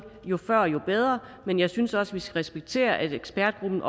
jo før jo bedre men jeg synes også vi skal respektere at ekspertgruppen